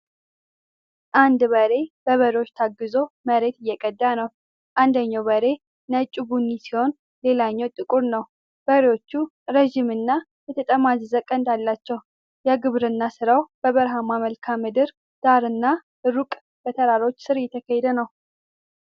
አንድ ገበሬ በበሬዎች ታግዞ መሬት እየቀዳ ነው። አንደኛው በሬ ነጭ-ቡኒ ሲሆን ሌላኛው ጥቁር ነው። በሬዎቹ ረዥምና የተጠማዘዘ ቀንድ አላቸው። የግብርና ሥራው በበረሃማ መልክዓ ምድር ዳራና ሩቅ በተራሮች ሥር እየተካሄደ ነው።